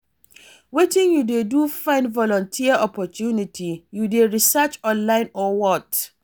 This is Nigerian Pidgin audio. Wetin you dey do to find volunteer opportunity, you dey research online or what?